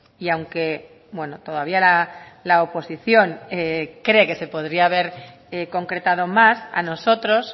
y aunque todavía la oposición cree que se podría haber concretado más a nosotros